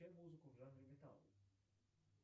включай музыку в жанре металл